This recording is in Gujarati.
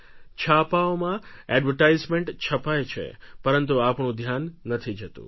છાપાઓમાં એડવર્ટાઇઝમેન્ટ છપાય છે પરંતુ આપણું ધ્યાન નથી જતું